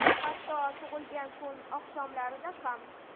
Hatto tug‘ilgan kun oqshomlarida ham!